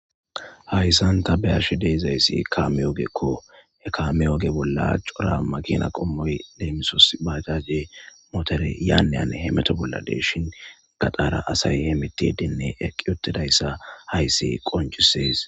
hayssan ta bayarshi deezayssi kaame yoogekko he kaame yoge bolla cora makina qommoy deemisos baagaze motore yaaneyan he meto bolla deshin gadaara asay he mitidenne eqqi otidayssa hayssi qoncisees